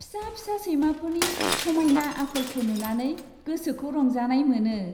फिसा फिसा सैमाफोरनि समायना आखलखौ नुनानै गोसोखौ रंजानाय मोनो।